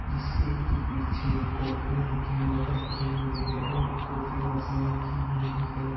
जिसके की पीछे कॉफीयो के मग रखे हुए है और पीछे एक कॉफी मशीन रखी हुई है।